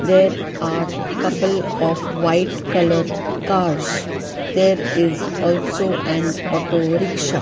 there are couple of white colour cars there is also an auto rickshaw.